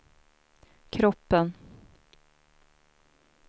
kroppen